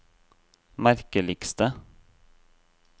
merkeligste